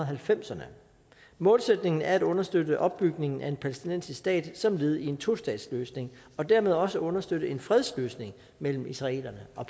halvfemserne målsætningen er at understøtte opbygningen af en palæstinensisk stat som led i en tostatsløsning og dermed også understøtte en fredsløsning mellem israelerne og